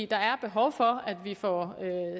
der er behov for at vi får